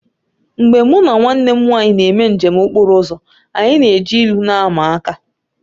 Mgbe mụ na nwanne m nwaanyị na-eme njem okpọro ụzọ anyị na-eji ilu na-ama aka